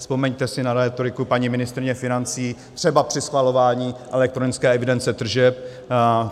Vzpomeňte si na rétoriku paní ministryně financí třeba při schvalování elektronické evidence tržeb.